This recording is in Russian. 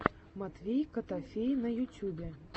матвей котофей на ютюбе